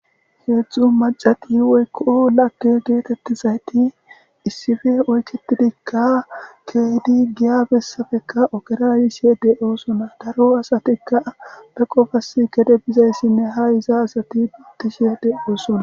Hezhzhu maccati lagge getetizayt isspd oyketidika kehid giya besapodka ogera yishe dosona. Ha do adatikka eqqidosona.